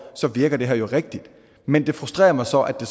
så virkede det her jo rigtigt men det frustrerede mig så at det